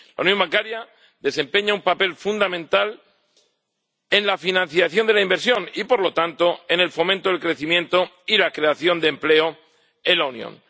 La unión bancaria desempeña un papel fundamental en la financiación de la inversión y, por lo tanto, en el fomento del crecimiento y la creación de empleo en la Unión.